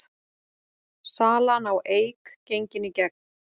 Salan á Eik gengin í gegn